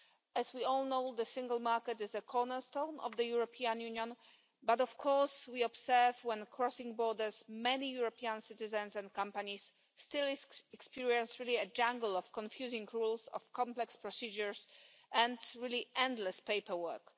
As we all know, the single market is a cornerstone of the European Union, but we observe that when crossing borders, many European citizens and companies still experience a jungle of confusing rules, complex procedures and endless paperwork.